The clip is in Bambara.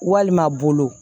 Walima bolo